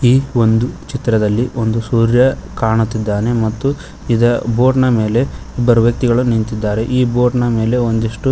ಈ ಒಂದು ಚಿತ್ರದಲ್ಲಿ ಒಂದು ಸೂರ್ಯ ಕಾಣುತ್ತಿದ್ದಾನೆ ಮತ್ತು ಇದ ಬೋಟ್ ನ ಮೇಲೆ ಇಬ್ಬರು ವ್ಯಕ್ತಿಗಳು ನಿಂತಿದ್ದಾರೆ ಈ ಬೋಟ್ ನ ಮೇಲೆ ಒಂದಿಷ್ಟು --